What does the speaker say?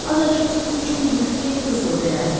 Azacıq su üçün bir xeyli qızıl verərdi.